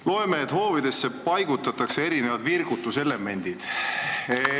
Loen, et hoovidesse paigutatakse virgutuselemendid.